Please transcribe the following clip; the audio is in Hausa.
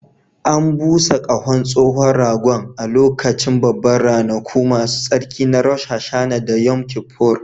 An busa ƙahon tsohon ragon a lokacin Babban Ranaku Masu Tsarki na Rosh Hashanah da Yom Kippur